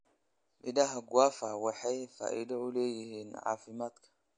Midhaha guava waxay faa'iido u leeyihiin caafimaadka.